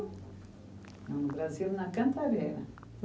No Brasil, na Cantareira.